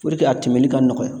a tɛmɛni ka nɔgɔya